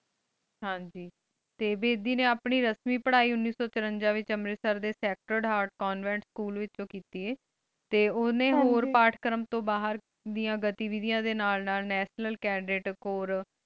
ਹਾਂਜੀ ਟੀ ਬੇਦੀ ਨੀ ਆਪਣੀ ਰਸਮੀ ਪਢ਼ਾਈ ਉਨਿਸੋ ਚੁਰਾਂਜਾ ਵਿਚ ਅੰਮ੍ਰਿਤਸਰ ਦੇ ਸਾਕ੍ਰ੍ਤਾਦ ਹੇਆਰਟ ਕਾਨ੍ਵੇੰਟ ਸਕੂਲ ਵਿਚੋ ਕੀਤੀ ਆਯ ਟੀ ਓਹਨੀ ਹੋਰ ਪਰਤ ਕਰਨ ਤੂ ਬਹਿਰ ਦਿਯਾ ਗਾਤੀਦਿਯਾਂ ਦੇ ਨਾਲ ਨਾਲ ਨਤਿਓਨਲ ਕੈਨ੍ਦੇਤ ਕੋਰ